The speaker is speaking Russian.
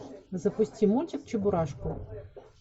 запусти мультик чебурашку